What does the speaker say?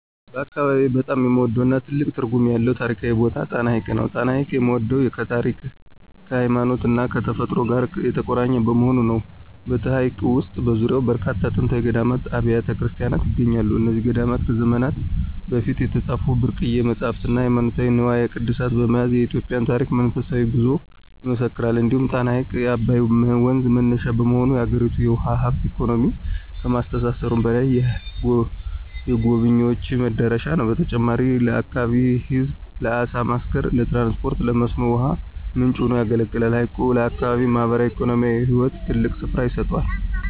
በአካባቢዬ በጣም የምወደውና ትልቅ ትርጉም ያለው ታሪካዊ ቦታ ጣና ሐይቅ ነው። ጣና ሐይቅን የምወደው ከታሪክ፣ ከሃይማኖትና ከተፈጥሮ ጋር የተቆራኘ በመሆኑ ነው። በሐይቁ ውስጥና በዙሪያው በርካታ ጥንታዊ ገዳማትና አብያተ ክርስቲያናት ይገኛሉ። እነዚህ ገዳማት ከዘመናት በፊት የተጻፉ ብርቅዬ መጻሕፍትና ሃይማኖታዊ ንዋየ ቅድሳት በመያዝ የኢትዮጵያን ታሪክና መንፈሳዊ ጉዞ ይመሰክራሉ። እንዲሁም ጣና ሐይቅ የአባይ ወንዝ መነሻ በመሆኑ፣ የአገሪቱን የውሃ ሀብትና ኢኮኖሚ ከማስተሳሰሩም በላይ፣ የጎብኝዎች መዳረሻ ነው። በተጨማሪም ለአካባቢው ሕዝብ ለዓሣ ማስገር፣ ለትራንስፖርትና ለመስኖ ውሃ ምንጭ ሆኖ ያገለግላል። ሐይቁ ለአካባቢው ማኅበራዊና ኢኮኖሚያዊ ሕይወት ትልቅ ስፍራ ይሰጠዋል።